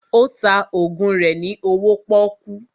Ó ta ògùn rẹ ní owó pọ́kú